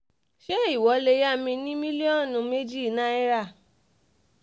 ṣé ìwọ lè yá mi ní mílíọ̀nù méjì náírà